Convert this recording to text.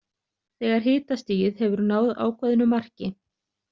Þegar hitastigið hefur náð ákveðnu marki.